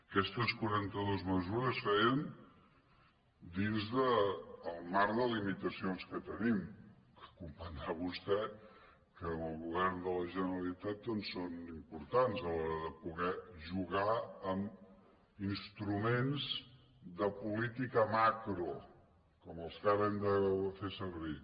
aquestes quaranta·dues mesures es feien dins del marc de limi·tacions que tenim que comprendrà vostè que en el go·vern de la generalitat doncs són importants a l’hora de poder jugar amb instruments de política macro com els que ara hem de fer servir